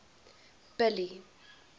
billy